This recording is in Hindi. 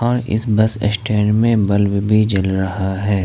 इस बस स्टैंड में बल्ब भी जल रहा है।